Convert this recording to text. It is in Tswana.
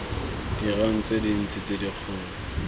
ditirong tse dintsi tse dikgolo